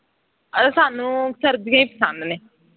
ਸਾਨੂੰ ਸਰਦੀਆਂ ਹੀ ਪਸੰਦ ਨੇ